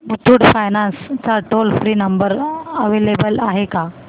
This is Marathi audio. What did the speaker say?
मुथूट फायनान्स चा टोल फ्री नंबर अवेलेबल आहे का